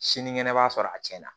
Sinikɛnɛ b'a sɔrɔ a cɛn na